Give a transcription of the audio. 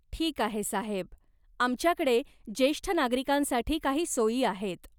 ठीक आहे साहेब. आमच्याकडे जेष्ठ नागरिकांसाठी काही सोयी आहेत.